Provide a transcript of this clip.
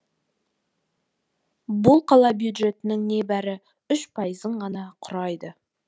бұл қала бюджетінің небәрі үш пайызын ғана құрайды